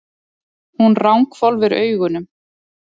Hún ranghvolfir augunum.